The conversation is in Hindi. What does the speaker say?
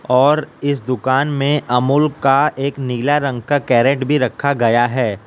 और इस दुकान में अमूल का एक नीला रंग का कैरेट भी रखा गया है।